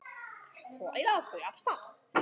Svo æða þau af stað.